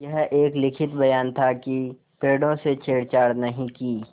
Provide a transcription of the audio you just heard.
यह एक लिखित बयान था कि पेड़ों से छेड़छाड़ नहीं की